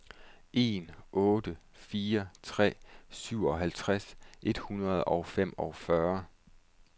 en otte fire tre syvoghalvtreds et hundrede og femogfyrre